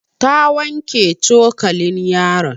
Ta wanke cokalin yaron.